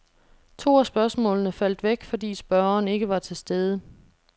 To af spørgsmålene faldt væk, fordi spørgeren ikke var til stede.